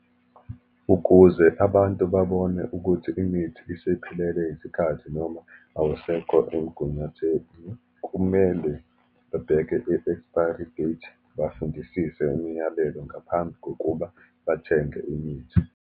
Ukuze abantu babone ukuthi imithi isiphelelwe isikhathi, noma awusekho emigunyatheni, kumele babheke i-expiry date, bafundisise imiyalelo ngaphambi kokuba bathenge imithi.